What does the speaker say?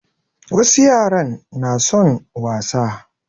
Wasu yaran na son wasa.